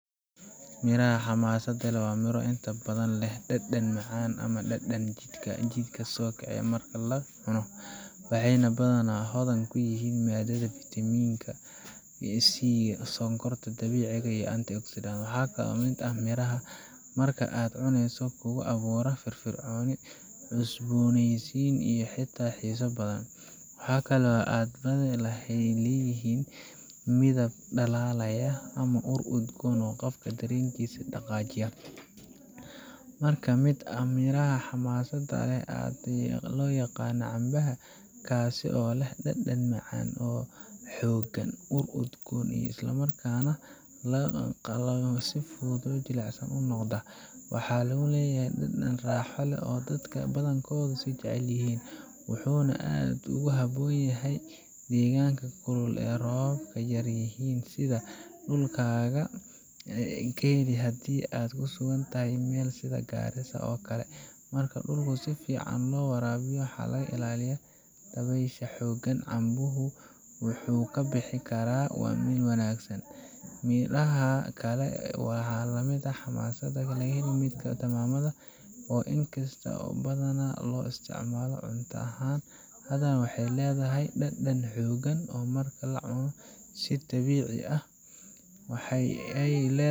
Midhaha xamaasadda leh waa miro inta badan leh dhadhan macaan ama dhanaan oo jidhka kicisa marka la cuno, waxayna badanaa ka hodan yihiin maadada fiitamiinta C, sokorta dabiiciga ah, iyo antioxidants. Waxaa ka mid ah miraha marka aad cunayso kugu abuura dareen firfircooni, cusbooneysi iyo xitaa xiiso badan. Waxaa kale oo ay badi ahaan leeyihiin midab dhalaalaya ama ur udgoon oo qofka dareenkiisa dhaqaajiya. Mid ka mid ah miraha xamaasadda leh ee aad loo yaqaan waa canbaha, kaas oo leh dhadhan macaan oo xooggan, ur udgoon, isla markaana marka la qalo si fudud jilicsan u noqda. Waxa uu leeyahay dhadhan raaxo leh oo dadka badankoodu ay jecel yihiin, wuxuuna aad ugu habboon yahay deegaanka kulul oo roobab yar yihiin, sida dhulkaaga oo kale haddii aad ku sugan tahay meel sida Garissa oo kale ah. Marka dhulku si fiican loo waraabiyo oo laga ilaaliyo dabaysha xooggan, canbuhu wuu ka bixi karaa si wanaagsan. Midhaha kale ee la mid ah xamaasadda leh waxaa ka mid ah tamaandhada, oo inkasta oo badanaa loo isticmaalo cunto ahaan, haddana waxay leedahay dhadhan xooggan marka la cuno si dabiici ah. Waxa ay